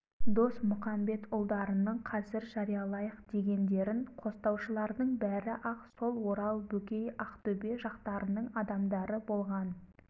досмұқамбетұлдарының қазір жариялайық дегендерін қостаушылардың бәрі-ақ сол орал бөкей ақтөбе жақтарының адамдары болған